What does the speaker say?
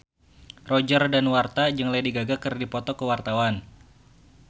Roger Danuarta jeung Lady Gaga keur dipoto ku wartawan